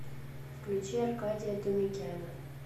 включи аркадия думикяна